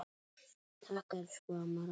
Takk, elsku amma Ragna.